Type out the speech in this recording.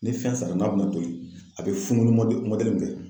Ni fɛn sara n'a bɛna toli a bɛ fununi mɔdɛ mɔdɛli min kɛ.